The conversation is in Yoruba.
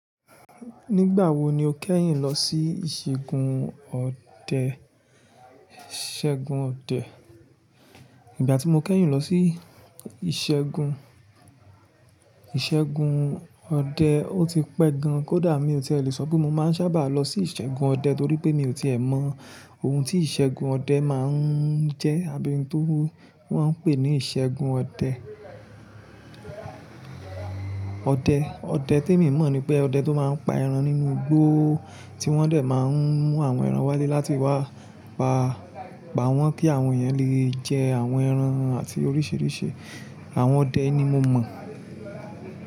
Nígbà wo ni o kẹ́yìn lọ sí ìṣègùn ọdẹ? Nígbà tí mo kẹ́yìn lọ sí ìṣègùn, ìṣègùn ọdẹ, ó ti pẹ́ gan-an kódà mi ò tí è lè so pé mo máa ń sábà lọ sí ìṣègùn ọdẹ torí pé mi ò tí è mọ ohun tí ìṣègùn ọdẹ máa ń jẹ́ àbí ohun tó wọ́n ń pè ní ìṣègùn ọdẹ. Ọdẹ, ọdẹ tí mi mọ̀ ni pé ọdẹ tó máa ń pa ẹran nínú igbó tí wọ́n dẹ̀ máa ń mú àwọn ẹran wálé láti wá pa, pa wọ́n kí àwọn èèyàn lè jẹ àwọn ẹran àti oríṣiríṣi àwọn ọdẹ ni mo mọ̀.